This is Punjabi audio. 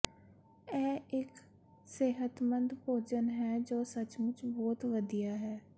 ਇਹ ਇੱਕ ਸਿਹਤਮੰਦ ਭੋਜਨ ਹੈ ਜੋ ਸੱਚਮੁਚ ਬਹੁਤ ਵਧੀਆ ਹੈ